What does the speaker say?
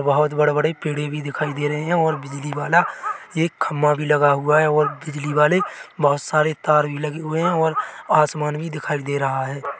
बहोत बड़े-बड़े पेड़े भी दिखाई दे रहे है और बिजली वाला एक खंबा भी लगा हुआ है और बिजली वाले बहोत सारे तार भी लगे हुए है और आसमान भी दिखाई दे रहा है।